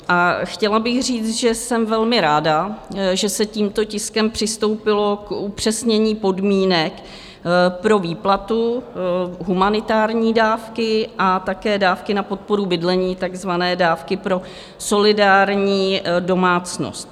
A chtěla bych říct, že jsem velmi ráda, že se tímto tiskem přistoupilo k upřesnění podmínek pro výplatu humanitární dávky a také dávky na podporu bydlení, takzvané dávky pro solidární domácnost.